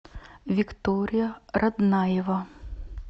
виктория роднаева